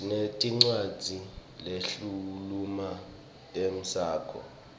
sinetincwadzi lehkhuluma ngemaskco